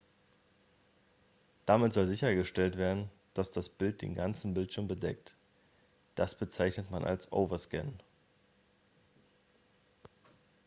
damit soll sichergestellt werden dass das bild den ganzen bildschirm bedeckt das bezeichnet man als overscan